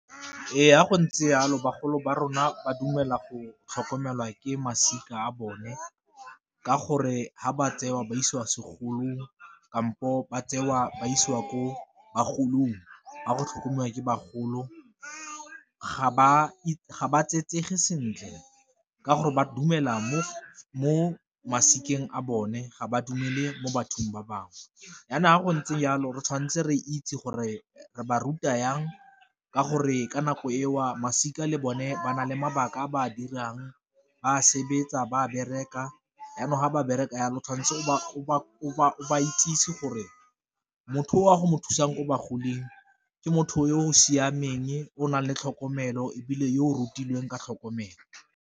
Ee, fa go ntse yalo bagolo ba rona ba dumela go tlhokomelwa ke masika a bone ka gore fa ba tseiwa ba isiwa segolong kampo ba tseiwa ba isiwa ko bagolong a go tlhokomelwa ke bagolo ga ba sentle ka gore ba dumela mo masika eng a bone ga ba dumele mo bathong ba bangwe, jaanong ga go ntse jalo re tshwanetse re itse gore re ba ruta jang ka gore ka nako e o masika le bone ba na le mabaka a ba a dirang ba sebetsa ba bereka jaanong ga ba bereka jalo tshwantse o ba itsisi gore, motho o a go mo thusang ko ba goding ke motho yo o siameng o nang le tlhokomelo ebile yo o rutilweng ka tlhokomelo.